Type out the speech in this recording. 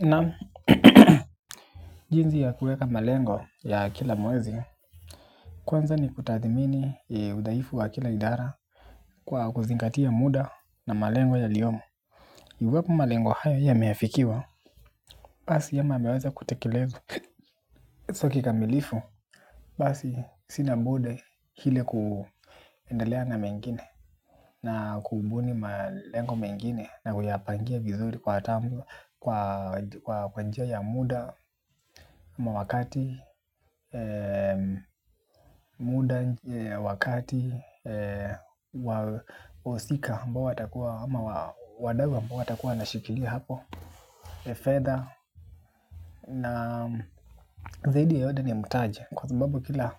Naam, jinsi ya kuweka malengo ya kila mwezi. Kwanza ni kutathimini udhaifu wa kila idara. Kwa kuzingatia muda na malengo yaliomu. Iwapo malengo hayo yameafikiwa basi ama yamameweza kutekelezwa kikamilifu basi sina budi ila kuendelea na mengine. Na kubuni malengo mengine na kuyapangia vizuri kwa njia ya muda ama wakati muda wakati wahusika ama wadau watakuwa wanashikilia hapo fedha na zaidi ya yote ni mutaje kwa sababu kila